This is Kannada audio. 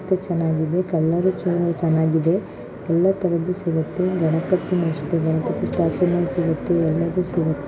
ಎಷ್ಟು ಚೆನ್ನಾಗಿದೆ ಕಲರು ಚೂರು ಚೆನ್ನಾಗಿದೆ ಎಲ್ಲಾ ತರದ್ದು ಸಿಗತ್ತೆ ಗಣಪತಿ ಮುಚ್ಚ್ತಿದಾರೆ ಸಿಗತ್ತೆ ಎಲ್ಲಾದು ಸಿಗುತ್ತೆ.